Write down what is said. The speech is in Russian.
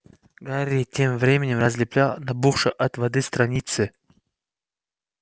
гарри тем временем разлеплял набухшие от воды страницы